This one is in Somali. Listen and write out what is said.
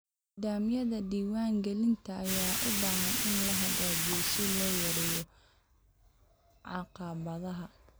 Nidaamyada diiwaan-gelinta ayaa u baahan in la hagaajiyo si loo yareeyo caqabadaha.